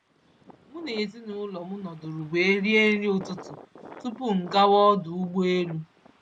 M na ezinụlọ m nọdụrụ wee rie nri ụtụtụ tupu m gawa ọdụ ụgbọ elu.